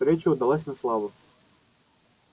встреча удалась на славу